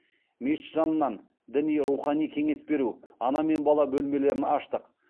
мешіт жанынан діни рухани кеңес беру ана мен бала бөлмелерін аштық